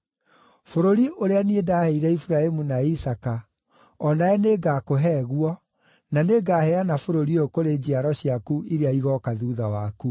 Bũrũri ũrĩa niĩ ndaheire Iburahĩmu na Isaaka, o nawe nĩngakũhe guo, na nĩngaheana bũrũri ũyũ kũrĩ njiaro ciaku iria igooka thuutha waku.”